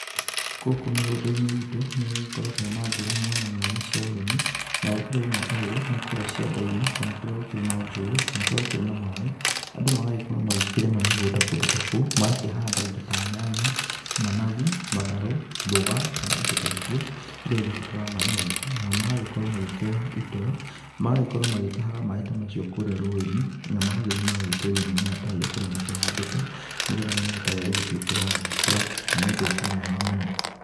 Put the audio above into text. Gũkũ mĩgũnda-inĩ itũ, nĩ gũgĩkoragwo na njĩra mwanya mwanya cia ũrĩmi, na njira ĩmwe ta ĩyo nĩ kũrĩa cianda-iní kana kũrĩa njũĩnĩ, kana kũrĩa gũkĩrĩ na maĩ andũ magagikorwo makirĩma mĩgũnda kũndũ ta kou, magakĩhanda indo ta nyanya, managu, matharũ, mboga kana indo ta icio, iragĩfatara maĩ maingĩ, nao magagikorwo magĩkioya itũ, magagĩkoragwo magĩtahaga maĩ ta macio kurĩa rũĩnĩ na magagĩthíĩ magagĩitĩrĩria mĩmera ta ĩyo kũrĩa makĩhandĩte nĩgetha mĩmera ta ĩyo ĩgĩtwĩka ya gũgĩkũra na nĩ ũndũ ũkĩrĩ mwega muno.